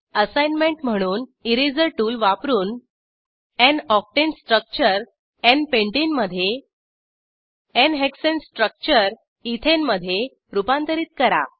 assignment म्हणून eraser tool वापरून n octane structure n pentane मधे n हेक्साने स्ट्रक्चर इथेन मधे रूपांतरित करा